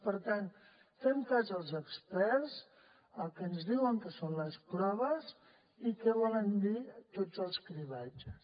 per tant fem cas als experts al que ens diuen que són les proves i que volen dir tots els cribratges